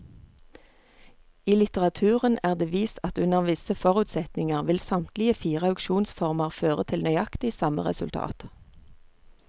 I litteraturen er det vist at under visse forutsetninger vil samtlige fire auksjonsformer føre til nøyaktig samme resultat.